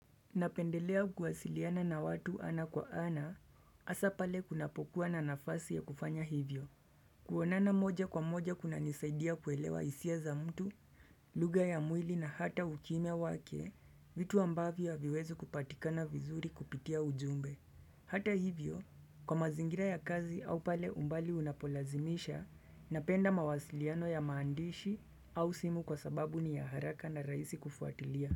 Napendelea kuwasiliana na watu ana kwa ana asapale kunapokuwa na nafasi ya kufanya hivyo kuonana moja kwa moja kuna nisaidia kuelewa isia za mtu, luga ya mwili na hata ukimia wake, vitu ambavyo haviwezi kupatikana vizuri kupitia ujumbe Hata hivyo, kwa mazingira ya kazi au pale umbali unapolazimisha, napenda mawasiliano ya maandishi au simu kwa sababu ni ya haraka na raisi kufuatilia.